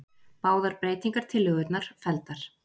Báðar breytingartillögurnar felldar